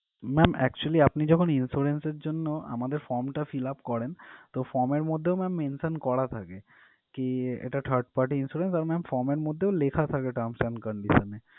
ma'am actually আপনি যখন insurance এর জন্য আমাদের form টা fill up করেন তো form এর মধ্যেও ma'am mention করা থাকে কি এটা third party Insurance আর form এর মধ্যেও লেখা থাকে terms and conditions এ